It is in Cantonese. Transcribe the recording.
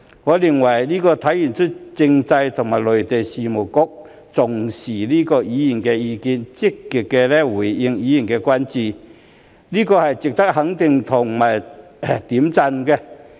我認為這體現了政制及內地事務局重視議員的意見、積極回應議員的關注，這是值得肯定和點讚的。